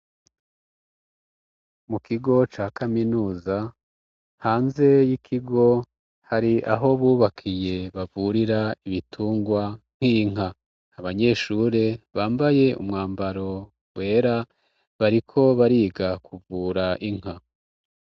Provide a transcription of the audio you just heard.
Mu kigo ca kaminuza hanze y'ikigo hari aho bubakiye bavurira ibitungwa nk'inka abanyeshure bambaye umwambaro wera bariko bariga kuvura inka.